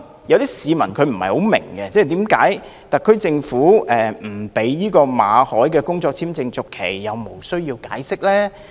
有些市民可能不太明白，為何特區政府不讓馬凱先生的工作簽證續期，但卻無須解釋。